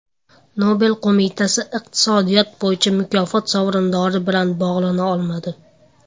Nobel qo‘mitasi iqtisodiyot bo‘yicha mukofot sovrindori bilan bog‘lana olmadi.